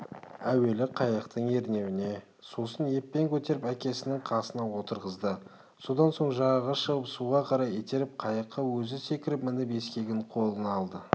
әуелі қайықтың ернеуіне сосын еппен көтеріп әкесінің қасына отырғызды содан соң жағаға шығып суға қарай итеріп қайыққа өзі секіріп мініп ескегін қолына алды